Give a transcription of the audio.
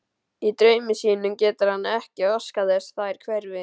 Í draumi sínum getur hann ekki óskað þess þær hverfi.